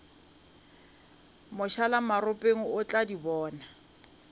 mošalamaropeng o tlo di bona